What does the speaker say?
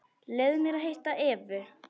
Leyfðu mér að hitta Evu.